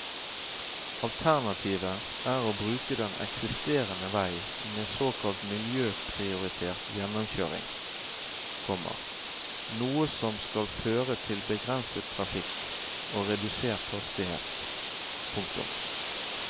Alternativet er å bruke den eksisterende vei med såkalt miljøprioritert gjennomkjøring, komma noe som skal føre til begrenset trafikk og redusert hastighet. punktum